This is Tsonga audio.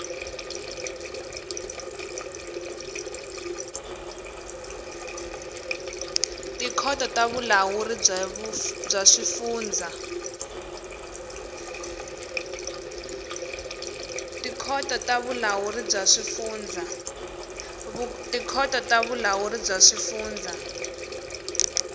tikhoto ta vulawuri bya swifundza